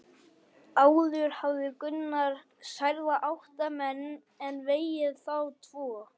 Áður hafði Gunnar særða átta menn en vegið þá tvo.